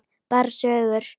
Bara sögur.